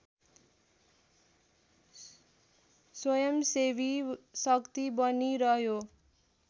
स्वयंसेवी शक्ति बनिरह्यो